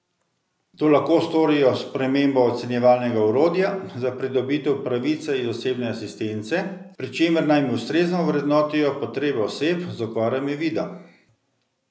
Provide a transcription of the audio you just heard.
To lahko storijo s spremembo ocenjevalnega orodja za pridobitev pravice iz osebne asistence, pri čemer naj ustrezno ovrednotijo potrebe oseb z okvarami vida.